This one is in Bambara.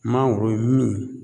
Mangoro ye min